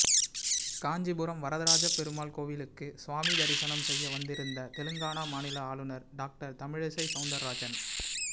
காஞ்சிபுரம் வரதராஜப் பெருமாள் கோயிலுக்கு சுவாமி தரிசனம் செய்ய வந்திருந்த தெலுங்கானா மாநில ஆளுநர் டாக்டர் தமிழிசை சௌந்தரராஜன்